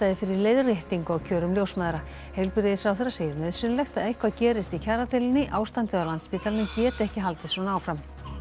fyrir leiðréttingu á kjörum ljósmæðra heilbrigðisráherra segir nauðsynlegt að eitthvað gerist í kjaradeilu ástandið á Landspítalanum geti ekki haldið svona áfram